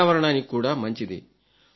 పర్యావరణానికి కూడా మంచిది